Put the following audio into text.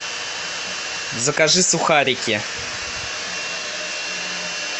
закажи сухарики